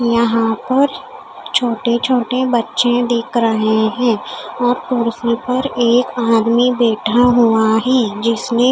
यहाँ पर छोटे छोटे बच्चे दिख रहे है और कुर्सी पर एक आदमी बैठा हुआ है जिसने --